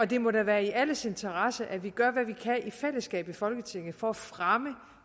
det må da være i alles interesse at vi gør hvad vi kan i fællesskab i folketinget for at fremme